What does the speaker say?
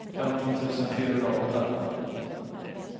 femton tusen fyrahundraåtta